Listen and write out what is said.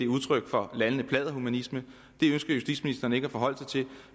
udtryk for lallende pladderhumanisme det ønsker justitsministeren ikke at forholde sig til